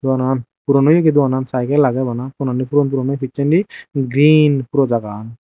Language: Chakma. doganan puron oyegi doganan saigel agey bana tonani puron puron pissendi green puro jagagan.